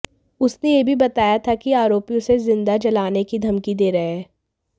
उसने यह भी बताया था कि आरोपी उसे जिंदा जलाने की धमकी दे रहे हैं